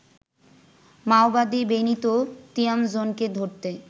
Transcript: মাওবাদী বেনিতো তিয়ামজোনকে ধরতে